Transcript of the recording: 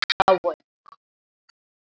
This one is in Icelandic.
Mamma er dáin.